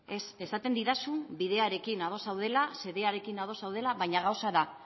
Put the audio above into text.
ez esaten didazun bidearekin ados zaudela xedearekin ados zaudela baina gauza da